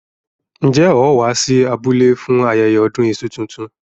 Njẹ́ ó wá sí abúlé fún ayẹyẹ ọdún iṣu tuntun?